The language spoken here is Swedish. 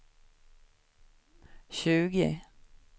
tjugo